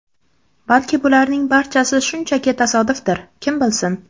Balki bularning barchasi shunchaki tasodifdir, kim bilsin.